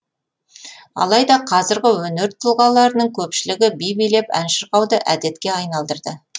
алайда қазіргі өнер тұлғаларының көпшілігі би билеп ән шырқауды әдетке айналдырды